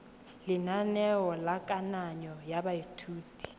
lenaneo la kananyo ya baithuti